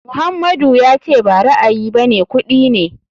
Muhammadu ya ce ba ra'ayi bane kuɗi ne.